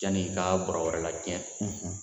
Janni i ka bɔrɔ wɛrɛ lacɛn